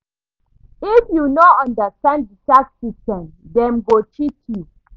If you no understand the tax system, dem go cheat you